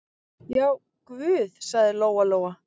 Já, guð, sagði Lóa-Lóa.